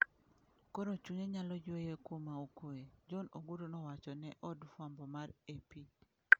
Koro chunye onyalo yweyo kuma okwe, John Ogutu nowachone od fwambo mar Ap.